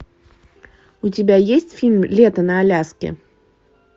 у тебя есть фильм лето на аляске